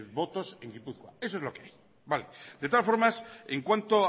votos en gipuzkoa eso es lo que hay de todas formas en cuanto